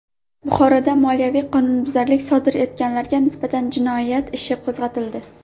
Buxoroda moliyaviy qonunbuzarlik sodir etganlarga nisbatan jinoyat ishi qo‘zg‘atildi.